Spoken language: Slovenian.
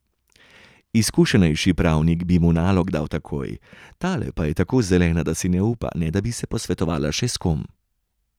Izkušenejši pravnik bi mu nalog dal takoj, tale pa je tako zelena, da si ne upa, ne da bi se posvetovala še s kom.